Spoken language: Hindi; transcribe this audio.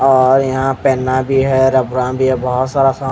और यहाँ पे पेन्ना भी है रब्बरा भी है बोहोत सारा सामान--